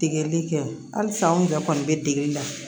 Degeli kɛ halisa anw yɛrɛ kɔni bɛ degeli la